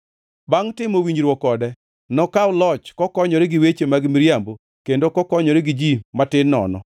Bangʼ timo winjruok kode, nokaw loch kokonyore gi weche mag miriambo kendo kokonyore gi ji matin nono.